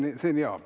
Oi, see on hea.